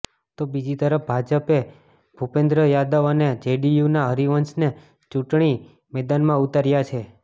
તો બીજી તરફ ભાજપે ભુપેન્દ્ર યાદવ અને જેડીયુના હરિવંશને ચૂંટણી મેદાનમાં ઉતાર્યા છે